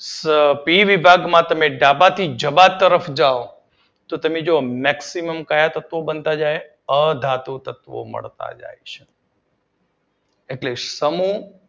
પી વિભાગમાં તમે ડાબા થી જમણા તરફ જાવ તો તમે જોવો મેક્સીમમ ક્યાં તત્વો બનતા જાય અધાતુ તત્વો મળતા જાય છે. એટલે સમૂહ